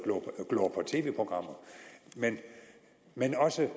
og tv programmer men også